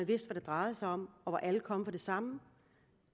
det drejede sig om og hvor alle kom for det samme